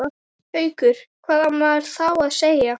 Haukur: Hvað á maður þá að segja?